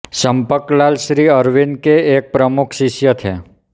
चम्पकलाल श्री अरविन्द के एक प्रमुख शिष्य थे